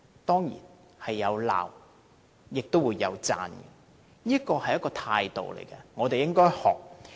當然會有批評，也有讚賞，這是一種態度，我們應該學習。